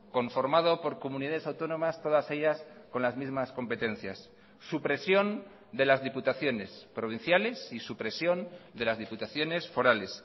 conformado por comunidades autónomas todas ellas con las mismas competencias supresión de las diputaciones provinciales y supresión de las diputaciones forales